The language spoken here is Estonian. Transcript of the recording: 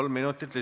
Palun!